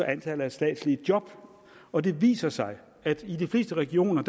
antallet af statslige job og det viser sig at i de fleste regioner